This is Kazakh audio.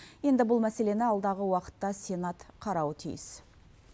енді бұл мәселені алдағы уақытта сенат қарауы тиіс